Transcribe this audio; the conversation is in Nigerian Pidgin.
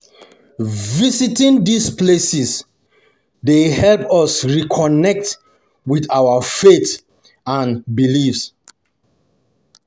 Visiting these places dey um help us reconnect with our um faith and beliefs.